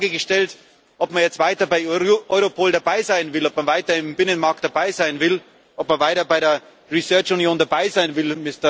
Ich habe die Frage gestellt, ob man jetzt weiter bei Europol dabei sein will, ob man weiter im Binnenmarkt dabei sein will, ob man weiter bei der forscungsunion dabei sein will.